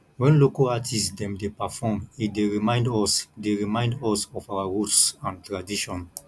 wen local artist dem dey perform e dey remind us dey remind us of our roots and tradition